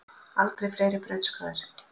Aldrei fleiri brautskráðir